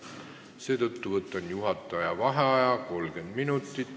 Seetõttu võtan 30 minutiks juhataja vaheaja.